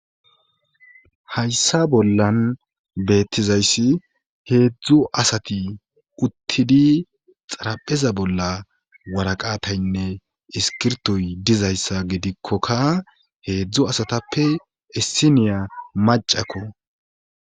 hayssa bollan beettizayssi heedzdzu asati uttidi xarapheza bolla waraqataynne iskirtoy dizayssa gidikkokka heedzdzu asatappe issiniya macakko